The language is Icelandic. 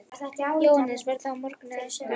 Jóhannes: Verður það á morgun eða næstu daga?